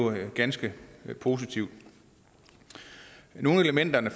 er det ganske positivt nogle af elementerne